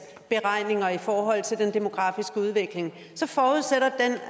beregninger i forhold til den demografiske udvikling så forudsætter